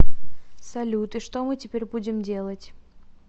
салют и что мы теперь будем делать